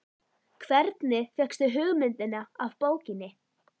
Hvernig fékkstu hugmyndina af bókinni?